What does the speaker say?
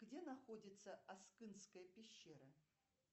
где находится аскынская пещера